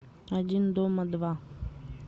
один дома два